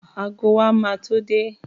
Ago wa ma tó dé